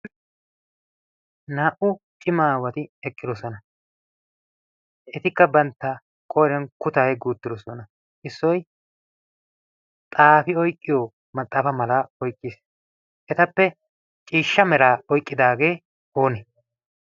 Naa"u cima aawati eqqidosona etikka bantta qooriyan kutaa yeggi uuttidosona. Issoyi xaafi oyqqiyo maxaafa malaa oyqqiis. Etappe ciishsha meraa oyqqidaagee oonee?